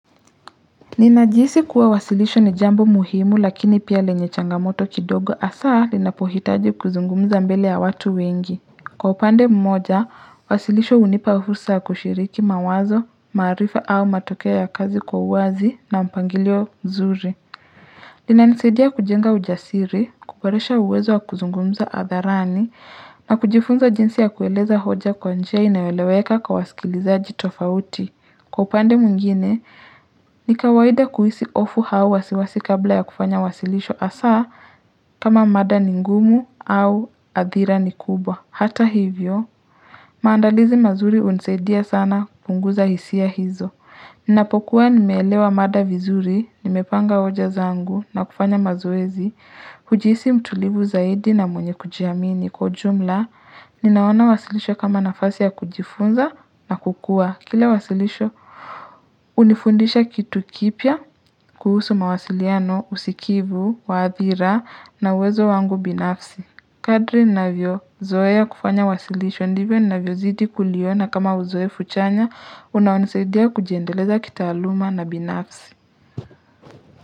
Ninajihisi kuwa wasilisho ni jambo muhimu lakini pia lenye changamoto kidogo hasaa linapohitaji kuzungumza mbele ya watu wengi. Kwa upande mmoja, wasilisho hunipa fursa ya kushiriki mawazo, maarifa au matokeo ya kazi kwa uwazi na mpangilio mzuri. Inanisaidia kujenga ujasiri, kuboresha uwezo wa kuzungumza hadharani, na kujifunza jinsi ya kueleza hoja kwa njia inayoeleweka kwa wasikilizaji tofauti. Kwa upande mwingine, ni kawaida kuhisi hofu au wasiwasi kabla ya kufanya wasilisho hasa kama mada ni ngumu au hadhira ni kubwa. Hata hivyo, maandalizi mazuri hunisaidia sana kupunguza hisia hizo. Ninapokuwa nimeelewa mada vizuri, nimepanga hoja zangu na kufanya mazoezi, hujiisi mtulivu zaidi na mwenye kujiamini. Kwa ujumla, ninaona wasilisho kama nafasi ya kujifunza na kukua. Kila wasilisho hunifundisha kitu kipya kuhusu mawasiliano, usikivu, wa hadhira na uwezo wangu binafsi. Kadri ninavyozoe kufanya wasilisho ndivyo ninavyozidi kuliona kama uzoefu chanya unaonisaidia kujiendeleza kitaaluma na binafsi.